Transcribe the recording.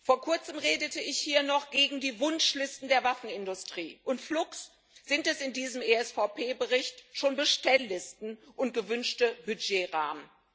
Vor Kurzem redete ich hier noch gegen die Wunschlisten der Waffenindustrie und flugs sind das in diesem ESVP Bericht schon Bestelllisten und gewünschte Budgetrahmen.